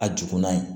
A juguman ye